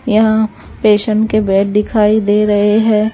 यहाँ पेशेंट के बेड दिखाई दे रहे हैं।